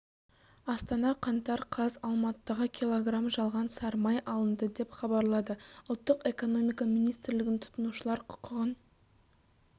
астана қаңтар қаз алматыдағы кг жалған сары май алынды деп хабарлады ұлттық экономика министрлігінің тұтынушылар құқығын